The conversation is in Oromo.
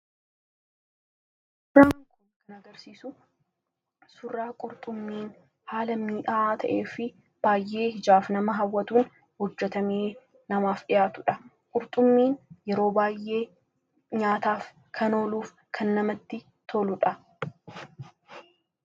suuraan kun kan agarsiisu surraa qurxummiin haala mii'aa ta'ee fi baay'ee ijaaf nama hawwatuun hojjatamee namaaf dhihaatuudha. qurxummiin yeroo baayee nyaataaf kan ooluuf kan namatti toludha.